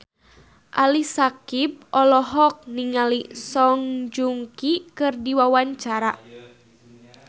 Ali Syakieb olohok ningali Song Joong Ki keur diwawancara